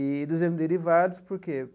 E dos hemoderivados, por quê?